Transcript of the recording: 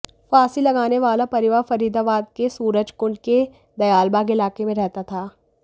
फांसी लगाने वाला परिवार फरीदाबाद के सूरजकुंड के दयालबाग इलाके में रहता था